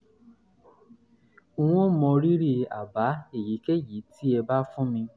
n ó mọrírì àbá èyíkéyìí tẹ́ ẹ bá fún mi